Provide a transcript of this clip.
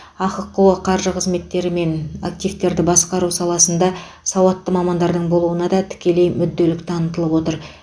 ахқо қаржы қызметтері мен активтерді басқару саласында сауатты мамандардың болуына да тікелей мүдделік танытылып отыр